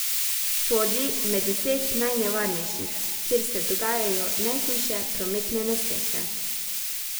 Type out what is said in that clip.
Sodi med deset najnevarnejših, kjer se dogajajo najhujše prometne nesreče.